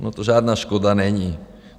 Ona to žádná škoda není.